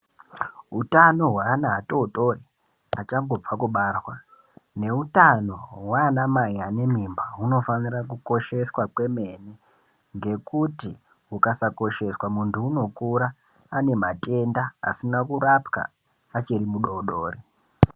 Hutano hweana atotori achangobve kubarwa neutano hwanamai ane mimba hunofanira kukosheswa kwemene ngekuti hukasakosheswa muntu unokura ane matenda asina kurapwa achiri mudodori.